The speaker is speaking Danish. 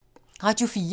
Radio 4